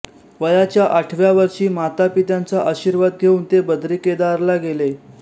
वयाच्या आठव्या वर्षी मातापित्यांचा आशीर्वाद घेऊन ते बद्रीकेदारला गेले